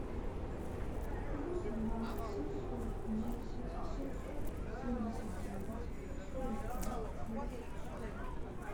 плюс два семьсот десять семьсот семьдесят девять сорок пять сорок шесть